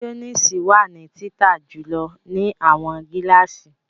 Mayonnaise wa ni tita julọ ni awọn gilasi